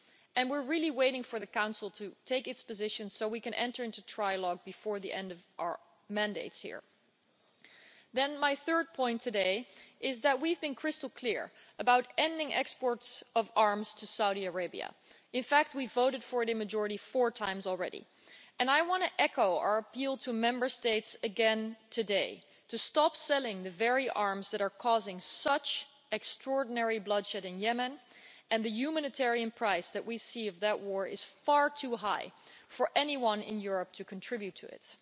and we are waiting for the Council to take its position so that we can enter into trilogue before the end of our mandates here. My third point is that we have been crystal clear about ending exports of arms to Saudi Arabia. In fact, we voted for it in a majority four times already, and I want to echo our appeal to Member States again today to stop selling the very arms that are causing such extraordinary bloodshed in Yemen, and the humanitarian price that we see of that war is far too high for anyone in Europe to contribute to